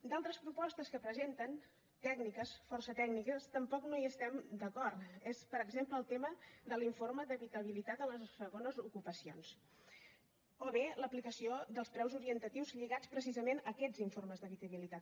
en altres propostes que presenten tècniques força tècniques tampoc no hi estem d’acord per exemple en el tema de l’informe d’habitabilitat a les segones ocupacions o bé en l’aplicació dels preus orientatius lligats precisament a aquests informes d’habitabilitat